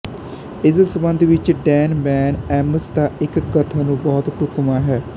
ਇਸ ਸੰਬੰਧ ਵਿੱਚ ਡੈਨ ਬੈੱਨ ਐਮਸ ਦਾ ਇਕ ਕਥਨ ਨੂੰ ਬਹੁਤ ਢੁਕਵਾਂ ਹੈ